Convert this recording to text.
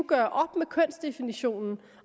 gøre op med kønsdefinitionen